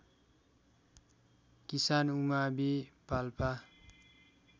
किसान उमावि पाल्पा